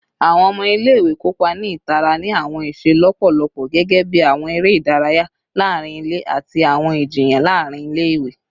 Awọn ọmọ ile-iwe kopa ni itara ni awọn iṣe lọpọlọpọ gẹgẹbi awọn ere idaraya laarin ile ati awọn ijiyan laarin ile-iwe